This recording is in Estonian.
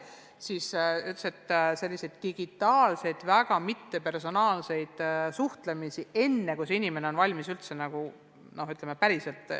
Ongi vaja sellist digitaalset ja mitte kuigi personaalset suhtlemist, enne kui see noor inimene on valmis päriselt neid teenuseid kasutama.